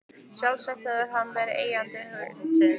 Sjálfsagt hefur hann verið eigandi hundsins.